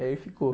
E aí ficou.